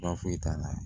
Baasi foyi t'a la